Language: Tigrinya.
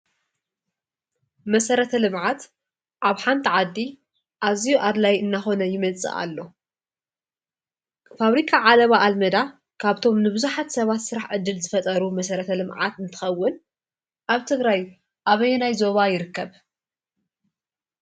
መሠረተ ልምዓት ዓብ ሓንቲ ዓዲ ኣዚዩ ኣድላይ እናኾነ ይመጽእ ኣሎ ፋብሪካ ዓለባ ኣልመዳ ካብቶም ንብዙኃት ሰባት ሥራሕ እድል ዘፈጠሩ መሠረተ ልምዓት ንትኸውን ኣብ ትግራይ ኣበየናይ ዞባ ይርከብ?